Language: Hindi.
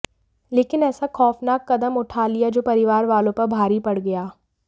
लेकिन ऐसा खौफनाक कदम उठा लिया जो परिवार वालों पर भारी पड़ गया